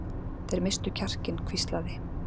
Þeir misstu kjarkinn hvíslaði